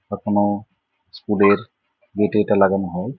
এখনো স্কুল এর গেট এ এটা লাগানো হয়।